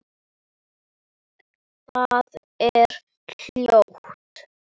Það er hljótt.